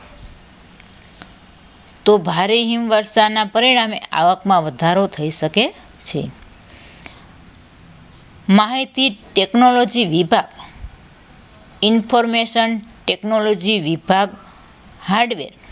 તો ભારે હિમ વરસાદના પરિણામે આવકમાં વધારો થઈ શકે છે માહિતી technology વિભાગ information technology વિભાગ હાર્ડવેર